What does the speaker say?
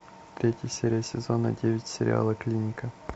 третья серия сезона девять сериала клиника